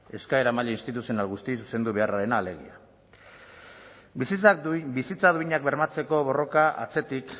eskaera maila instituzional guztiei zuzendu beharrarena alegia bizitza duinak bermatzeko borroka atzetik